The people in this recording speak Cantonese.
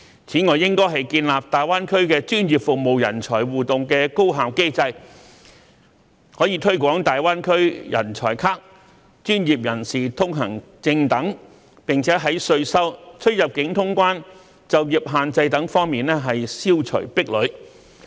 此外，三地應建立大灣區專業服務人才互動的高效機制，可推廣"大灣區人才卡"或"專業人士通行證"等，以及消除稅收、出入境通關和執業限制等方面的壁壘。